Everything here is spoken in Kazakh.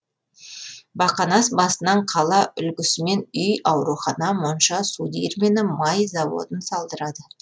бақанас басынан қала үлгісімен үй аурухана монша су диірмені май заводын салдырады